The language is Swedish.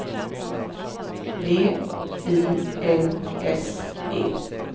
V I L S E